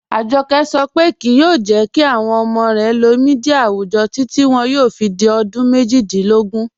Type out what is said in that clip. Ajọkẹ sọ pe kíí yoo jẹ́ kí awọn ọmọ rẹ lóò míḍíà awùjọ́ títi wọn yóò fi di ọdún mẹ́jìdílógún